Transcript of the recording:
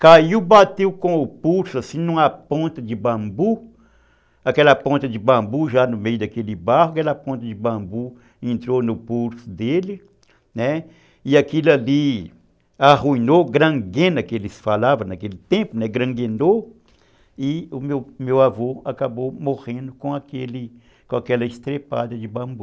Caiu, bateu com o pulso, assim, numa ponta de bambu, aquela ponta de bambu já no meio daquele barro, aquela ponta de bambu entrou no pulso dele, né, e aquilo ali arruinou, granguena, que eles falavam naquele tempo, granguenou, e o meu avô acabou morrendo com aquele com aquela estrepada de bambu.